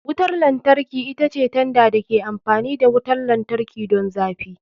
Wutar lantarki ita ce tanda da ke amfani da wutar lantarki don zafi.